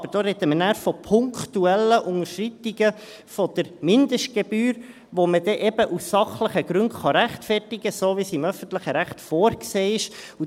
Aber da sprechen wir dann von punktuellen Unterschreitungen der Mindestgebühr, die man dann eben aus sachlichen Gründen rechtfertigen kann, so wie es im öffentlichen Recht vorgesehen ist.